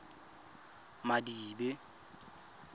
madibe